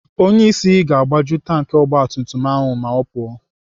Onyeisi ga-agbaju tanki ogbatumtum ahụ ma ọ pụọ.